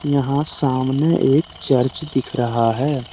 यहां सामने एक चर्च दिख रहा है।